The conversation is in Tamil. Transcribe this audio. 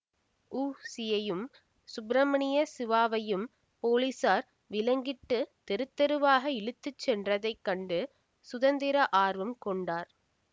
உ சியையும் சுப்ரமணிய சிவாவையும் போலீஸார் விலங்கிட்டு தெருத்தெருவாக இழுத்துச்சென்றதை கண்டு சுதந்திர ஆர்வம் கொண்டார்